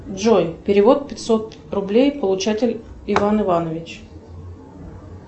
джой перевод пятьсот рублей получатель иван иванович